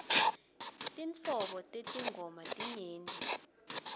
tinhlobo tetingoma tinyenti